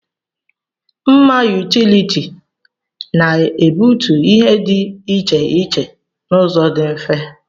Mma yutility na-egbutu ihe dị iche iche n'ụzọ dị mfe.